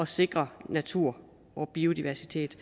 sikre natur og biodiversitet